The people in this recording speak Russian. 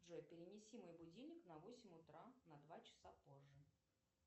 джой перенеси мой будильник на восемь утра на два часа позже